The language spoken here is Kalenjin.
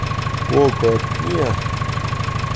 Woo kot nia